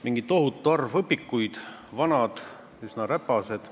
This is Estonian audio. Mingi tohutu arv õpikuid, vanad ja üsna räpased.